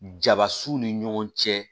Jaba s'u ni ɲɔgɔn cɛ